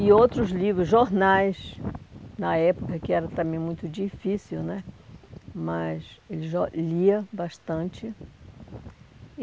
e outros livros, jornais, na época, que era também muito difícil né, mas ele lia bastante.